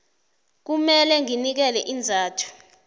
kumele nginikele iinzathu